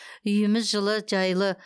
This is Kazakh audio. үйіміз жылы жайлы